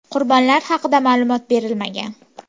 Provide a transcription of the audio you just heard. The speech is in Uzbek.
Qurbonlar haqida ma’lumot berilmagan.